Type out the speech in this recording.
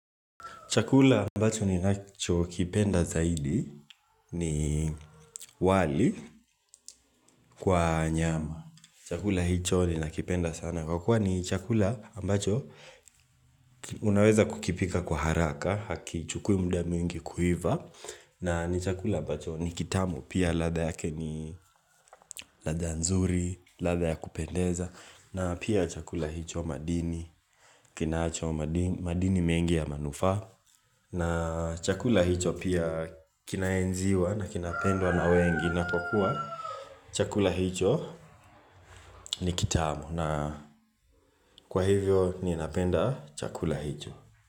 Chakula ambacho ni nacho kipenda zaidi ni wali kwa nyama. Chakula hicho ni nakipenda sana kwa kuwa ni chakula ambacho unaweza kukipika kwa haraka haki chukui muda mingi kuiva na ni chakula ambacho ni kitamu pia latha yake ni ladha nzuri ladha ya kupendeza na pia chakula hicho madini kinacho madini mengi ya manufa na chakula hicho pia Kinaenziwa na kinapendwa na wengi na inapokuwa chakula hicho ni kitamu na kwa hivyo ni napenda chakula hicho.